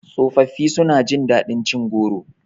Tsofafi su na jin daɗin cin goro